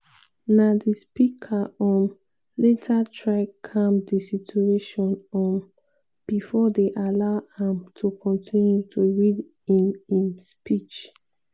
na di speaker um later try calm di situation um bifor dem allow am to continue to read im im speech.